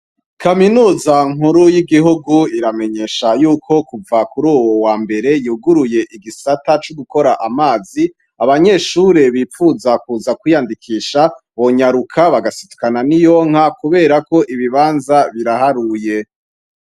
Kaminuza nkuru y'igihugu iramenyesha yuko kuva kuruyu wambere yuguruye igisata co gukora amazi , abanyeshure bipfuza kuza kwiyandikisha bonyaruka bagasidukana ni iyonka kubera ko ibibanza biraharuye.